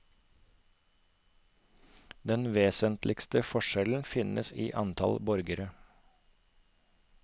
Den vesentligste forskjellen finnes i antall borgere.